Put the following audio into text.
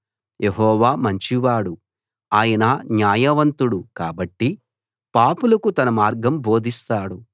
యెహోవా మంచివాడు ఆయన న్యాయవంతుడు కాబట్టి పాపులకు తన మార్గం బోధిస్తాడు